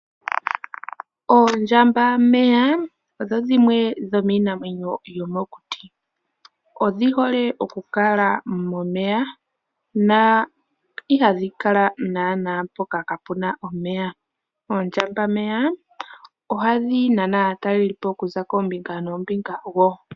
Oondjambameya odho dhimwe dho miinamwenyo yomokuti, odhi hole okukala momeya na ihadhi kala naana mpoka kapu na omeya, oondjambameya ohadhi nana aatalelipo okuza koombinga noombinga wo.